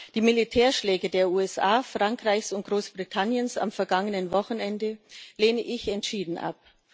Die Militärschläge der USA, Frankreichs und Großbritanniens am vergangenen Wochenende lehne ich entschieden ab.